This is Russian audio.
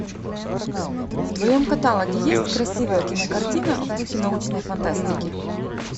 в твоем каталоге есть красивая кинокартина в духе научной фантастики